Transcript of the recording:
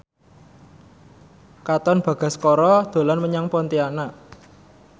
Katon Bagaskara dolan menyang Pontianak